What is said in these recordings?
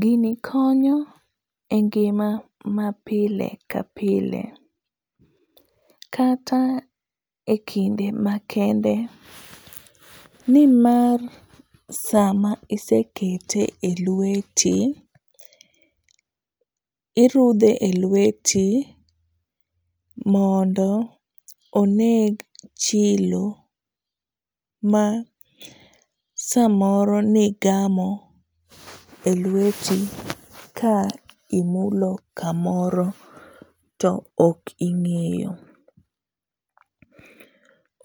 Gini konyo e ngima mapile ka pile kata ekinde makende nimar sama isekete elweti irudhe elweti mondo oneg chilo ma samoro ne igamo elweti ka imulo kamoro to ok ing'eyo.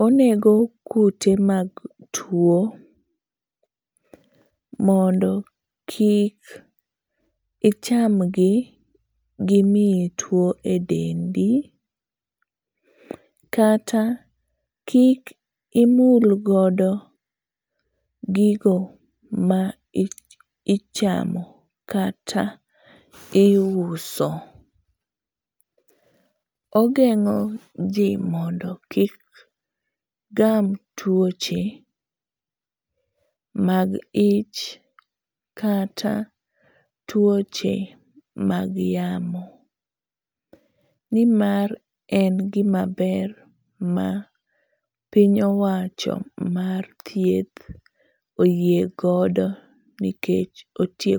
Onego kute mag tuo mondo kik icham gi, gimiyi tuo edendi. Kata kikimul godo gigo ma ichamo kata iuso. Ogeng'o ji mondo kik gam tuoche mag ich kata tuoche mag yamo. Nimar en gimaber ma piny owacho mar thieth oyie godo nikech otie